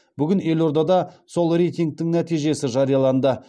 бүгін елордада сол рейтингтің нәтижесі жарияланды